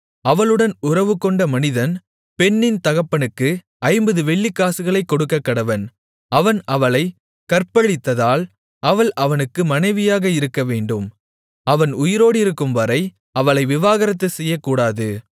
அவளுடன் உறவுகொண்ட மனிதன் பெண்ணின் தகப்பனுக்கு ஐம்பது வெள்ளிக்காசுகளைக் கொடுக்கக்கடவன் அவன் அவளைக் கற்பழித்ததால் அவள் அவனுக்கு மனைவியாக இருக்கவேண்டும் அவன் உயிரோடிருக்கும்வரை அவளை விவாகரத்து செய்யக்கூடாது